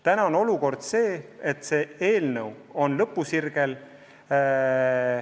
Praegu on olukord selline, et sellesisuline eelnõu on lõpusirgel.